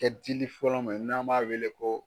Kɛ dili fɔlɔ mɛ n'an b'a weele ko